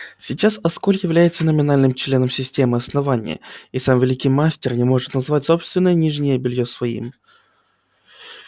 сейчас асконь является номинальным членом системы основания и сам великий мастер не может назвать собственное нижнее бельё своим